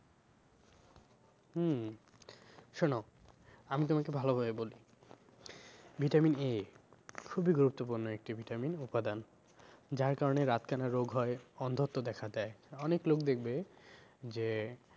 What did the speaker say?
হম শোনো আমি তোমাকে ভালো ভাবে বলছি vitamin A খুবই গুরুত্বপূর্ণ একটি vitamin উপাদান যার কারণে রাত কানা রোগ হয়, অন্ধত্ব দেখা দেয়, অনেক লোক দেখবে যে